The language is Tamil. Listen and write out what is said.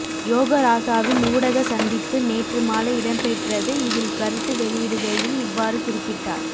யோகராசாவின் ஊடக சந்திப்பு நேற்று மாலை இடம்பெற்றது இதில் கருத்து வெளியிடுகையில் இவ்வாறு குறிப்பிட்டார்